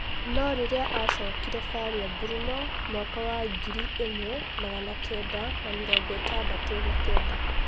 No-rĩria acokire Faria Ngurumo mwaka wa ngiri ĩmwe magana kenda na-mĩrongo ĩtandatũ na-kenda.